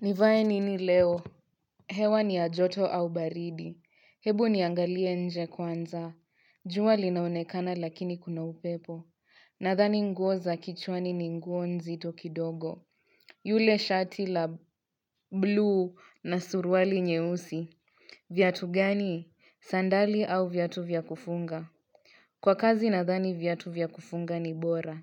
Nivae nini leo? Hewa ni ya joto au baridi. Hebu niangalie nje kwanza. Jua linaonekana lakini kuna upepo. Nadhani nguo za kichwani ni nguo nzito kidogo. Yule shati la bluu na suruali nyeusi. Viatu gani? Sandali au viatu vya kufunga? Kwa kazi nadhani viatu vya kufunga ni bora.